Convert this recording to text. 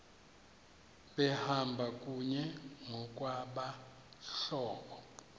behamba kunye ngokwabahlobo